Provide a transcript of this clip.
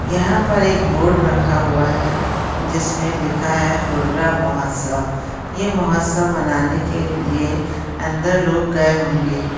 यहा पर एक बोर्ड रखा हुआ है जिसमे लिखा है हुरडा महोत्सव ये महोत्सव मनाने के लिए अंदर लोग गए होंगे।